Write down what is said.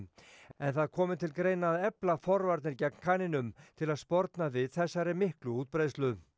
en það komi til greina að efla forvarnir gegn kanínum til að sporna við þessari miklu útbreiðslu